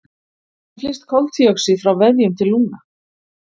Hvernig flyst koltvíoxíð frá vefjum til lungna?